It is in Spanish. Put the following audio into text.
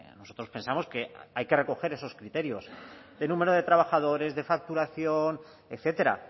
nosotros pensamos que hay que recoger esos criterios el número de trabajadores de facturación etcétera